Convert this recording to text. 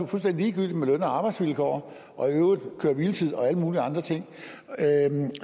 fuldstændig ligegyldigt med løn og arbejdsvilkår og i øvrigt køre hvile tids bestemmelser og alle mulige andre ting